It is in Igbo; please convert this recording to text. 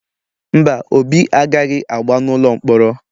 Mba, Obi agaghị agba n’ụlọ mkpọrọ.